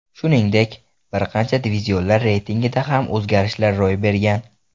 Shuningdek, bir qancha divizionlar reytingida ham o‘zgarishlar ro‘y bergan.